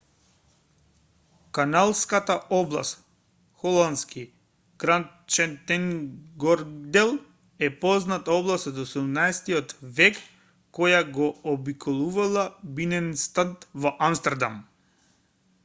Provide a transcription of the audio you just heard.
каналската област холандски: grachtengordel е позната област од 17-ти век која го обиколува биненстад во амстердам